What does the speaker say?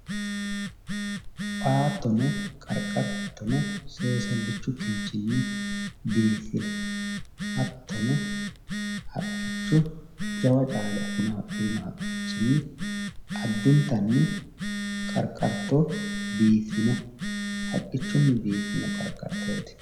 baattono qarqartono seesallichu kinchini biiffino hattono haqqicho jawa caale afirino haqqichinni qarqarto biiffino haqqichunni biifino qarqartooti